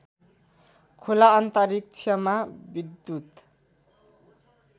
खुला अन्तरिक्षमा विद्युत